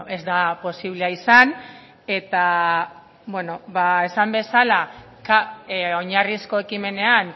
ez da posiblea izan eta esan bezala oinarrizko ekimenean